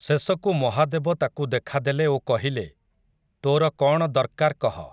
ଶେଷକୁ ମହାଦେବ ତାକୁ ଦେଖାଦେଲେ ଓ କହିଲେ, ତୋର କଣ ଦର୍କାର୍ କହ ।